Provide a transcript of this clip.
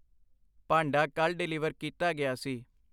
ਭਾਂਡਾ ਕੱਲ੍ਹ ਡਿਲੀਵਰ ਕੀਤਾ ਗਿਆ ਸੀ।